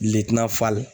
Litiri nafa la